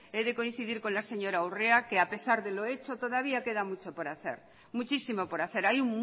he de coincidir con la señora urrea que a pesar de lo hecho todavía queda mucho por hacer muchísimo por hacer hay